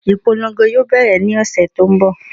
Ìpolongo yóò bẹ̀rẹ̀ ní ọ̀sẹ̀ tó n bọ̀